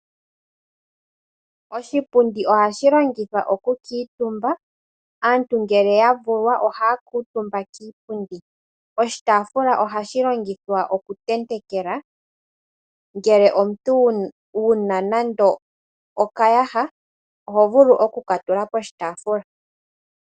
Oshipundi ohashi longithwa oku kuutumba. Aantu ngele yavulwa ohaya kuutumba kiipundi, oshitaafula ohashi tentekwa ngele omuntu wuna nando okayaha oho vulu oku katula poshitaafula.